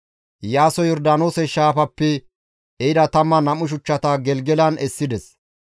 Iyaasoy Yordaanoose shaafappe ehida 12 shuchchata Gelgelan essides.